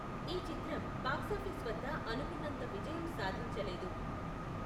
ఈ చిత్రం బాక్సాఫీస్ వద్ద అనుకున్నంత విజయం సాధించలేదు.